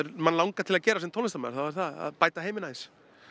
manni langar til að gera sem tónlistarmaður þá er það að bæta heiminn aðeins